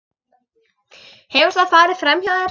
Hefur það farið framhjá þér?